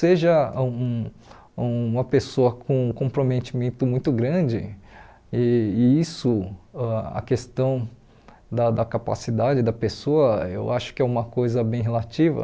Seja um uma pessoa com comprometimento muito grande, e e isso, ãh a questão da da capacidade da pessoa, eu acho que é uma coisa bem relativa.